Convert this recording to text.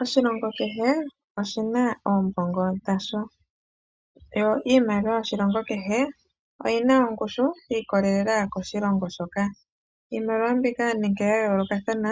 Oshilongo kehe oshina iimaliwa yasho niimaliwa yoshilongo kehe oyina ongushu yiikololela koshilongo shoka. Iimaliwa nande ya yoolokathana